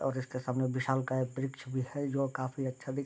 और इसके सामने विशालकाय एक वृक्ष भी है जो काफ़ी अच्छा दिख --.